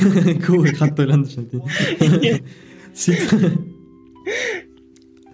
көп ой қатты ойландым шын айтайын иә